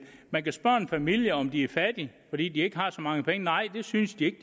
man kan spørge en familie om de er fattige fordi de ikke har så mange penge nej det synes de ikke